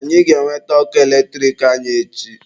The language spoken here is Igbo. Anyị ga-enweta ọkụ eletrik anyị echi.